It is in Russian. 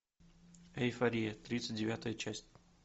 эйфория тридцать девятая часть